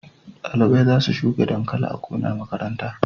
Dalibai za su shuka dankali a gonan makaranta